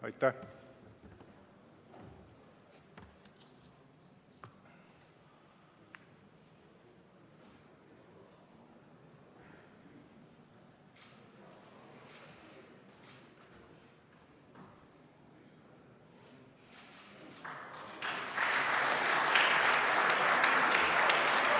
Aitäh!